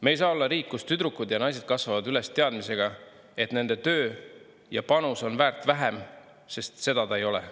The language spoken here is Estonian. Me ei saa olla riik, kus tüdrukud ja naised kasvavad üles teadmisega, et nende töö ja panus on väärt vähem, sest seda ta ei ole.